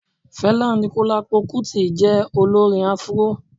Fẹlá Aníkúlápó Kútì jẹ́ Olórin Afuró